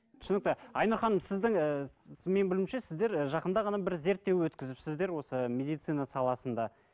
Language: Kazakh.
түсінікті айнұр ханым сіздің ііі менің білуімше сіздер жақында ғана бір зерттеу өткізіпсіздер осы медицина саласында